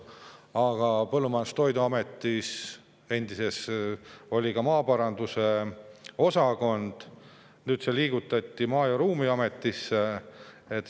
Endises Põllumajandus‑ ja Toiduametis oli ka maaparanduse osakond, nüüd see liigutati Maa‑ ja Ruumiametisse.